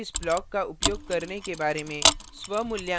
nonstatic block के बारे में और इस block का उपयोग करने के बारे में